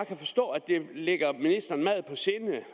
kan forstå at det ligger ministeren meget på sinde